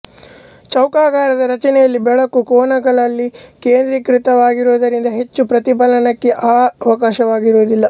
ಚೌಕಾಕಾರದ ರಚನೆಯಲ್ಲಿ ಬೆಳಕು ಕೋನಗಳಲ್ಲಿ ಕೇಂದ್ರೀಕೃತವಾಗುವುದರಿಂದ ಹೆಚ್ಚು ಪ್ರತಿಫಲನಕ್ಕೆ ಅವಕಾಶವಾಗುವುದಿಲ್ಲ